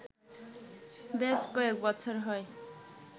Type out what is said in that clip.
বেশ কয়েক বছর হয়